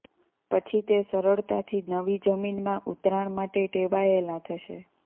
પછી તે સરળતાથી નવી જમીનમાં ઉતરાણ માટે ટેવાયેલા થશે